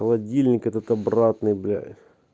холодильник этот обратный бля